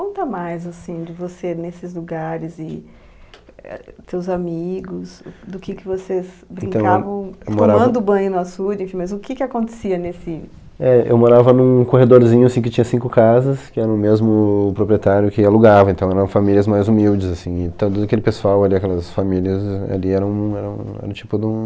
Conta mais, assim, de você nesses lugares e éh teus amigos, do que que vocês brincavam tomando banho no açude, enfim, mas o que que acontecia nesse... É, eu morava num corredorzinho, assim, que tinha cinco casas, que era o mesmo proprietário que alugava, então eram famílias mais humildes, assim, e todo aquele pessoal ali, aquelas famílias ali, eram um era um tipo de um...